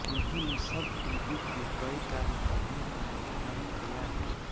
उन्होंने सब टीवी के कई कार्यक्रमों का निर्माण किया है